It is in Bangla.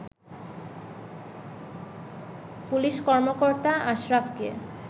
পুলিশ কর্মকর্তা আশরাফকে